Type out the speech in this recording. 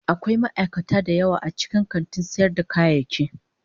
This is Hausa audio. Akwai ma'aikata da yawa a cikin kantin sayar da kayayyaki.